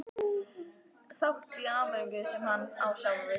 þátt í Ameríku sem hann á sjálfur.